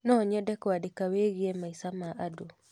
No nyende kũandĩka wĩgiĩ maica ma andũ.